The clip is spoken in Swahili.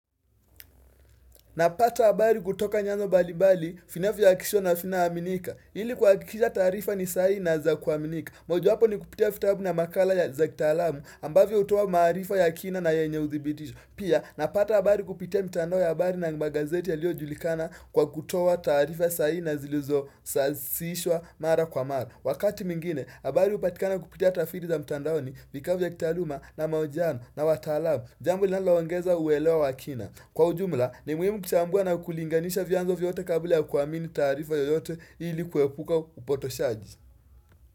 Napata habari kutoka nyanza mbali mbali, vinavyohakikishwa na vinavyoaminika. Ili kuhakikisha taarifa ni sahihi na za kuaminika. Mojowapo ni kupitia vitabu na makala za kitalamu ambavyo hutoa maarifa ya kina na yenye udhibitisho. Pia napata habari kupitia mitandao ya habari na magazeti yaliyojulikana kwa kutoa taarifa sahihi na zilizosawazishwa mara kwa mara. Wakati mwingine, habari hupatikana kupitia taathiri za mtandaoni vikao vya kitaaluma na mahojiano na wataalamu. Jambo linalaongeza uelewa wa kina. Kwa ujumla, ni muhimu kuchambua na kulinganisha vyanzo vyote kabla ya kuaamini taarifa yoyote ili kuepuka upotoshaji.